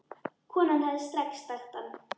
Konan hefði strax þekkt hann.